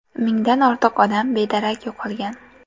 Mingdan ortiq odam bedarak yo‘qolgan.